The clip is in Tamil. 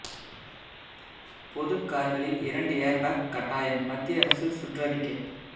பொது கார்களில் இரண்டு ஏர் பேக் கட்டாயம் மத்திய அரசு சுற்றறிக்கை